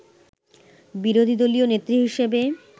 বিরোধীদলীয় নেত্রী হিসেবে